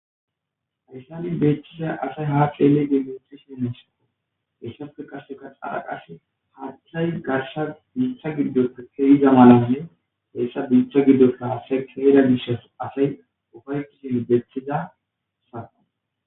Ayssani beethiza asay haa xeeley dimetisin neysako heessafe kaseka xaraqas haathay garsa biitha giddota keyiza malanne heessa biictha giddosta asay keera gishas asay ufaykishin beethiza saqa